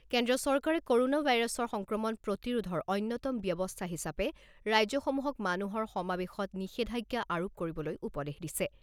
কেন্দ্ৰীয় চৰকাৰে ক'ৰনা ভাইৰাছৰ সংক্ৰমণ প্ৰতিৰোধৰ অন্যতম ব্যৱস্থা হিচাপে ৰাজ্যসমূহক মানুহৰ সমাবেশত নিষেধাজ্ঞা আৰোপ কৰিবলৈ উপদেশ দিছে।